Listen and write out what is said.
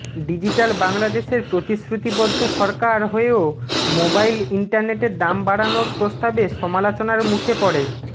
digital বাংলাদেশের প্রতিশ্রুতিবদ্ধ সরকার হয়েও মোবাইল ইন্টারনেটের দাম বাড়ানোর প্রস্তাবে সমালোচনার মুখে পড়ে